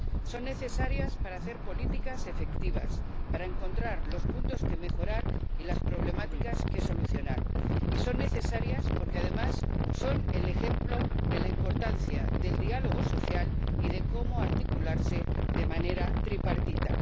son necesarias para hacer políticas efectivas, para encontrar los puntos que mejorar y las problemáticas que solucionar y son necesarias porque, además, son el ejemplo de la importancia del diálogo social y de cómo articularse de manera tripartita.